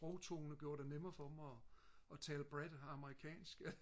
sprogtone gjorde det nemmere for dem og og tale bredt amerikansk